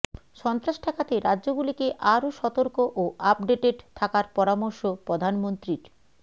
সন্ত্রাস ঠেকাতে রাজ্যগুলিকে আরও সতর্ক ও আপডেটেড থাকার পরামর্শ প্রধানমন্ত্রীর